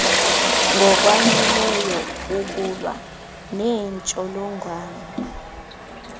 ngokwaneleyo ukulwa neentsholongwane